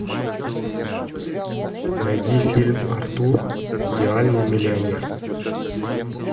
найди фильм артур идеальный миллионер